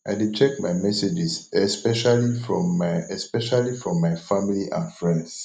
i dey check my messages especially from my especially from my family and friends